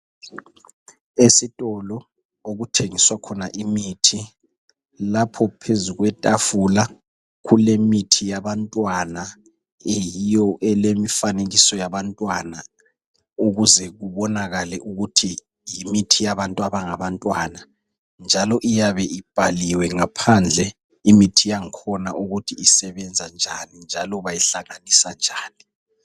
Esitolo okuthengiswa khona imithi. Lapho phezulu kwetafula kulemithi yabantwana eyiyo elemfanekiso yabantwana ukuze kubonakale ukuthi yimithi yabantu abangabantwana. Njalo iyabe ibhaliwe ngaphandle imithi yakhona ukuthi isebenza njani, njalo bayihlanganisa njani.